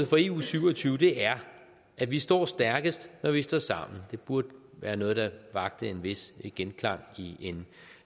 for eu syv og tyve er at vi står stærkest når vi står sammen det burde være noget der vakte en vis genklang i